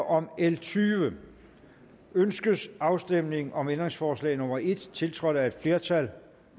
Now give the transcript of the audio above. om l tyvende ønskes afstemning om ændringsforslag nummer en tiltrådt af et flertal